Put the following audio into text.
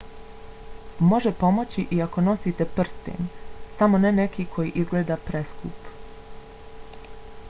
može pomoći i ako nosite prsten samo ne neki koji izgleda preskup